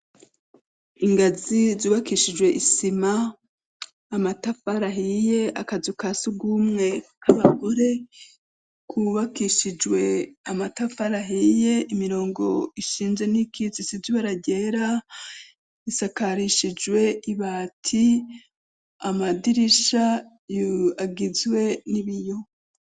Ingazi zubakishijwe isima amatafarahiye akazu ka si ugumwe k'abagore kubakishijwe amatafalahiye imirongo ishinje n'ikizi isizwararyera isakarishijwe ibati amadirisha a yu agizwe n'ibiyo.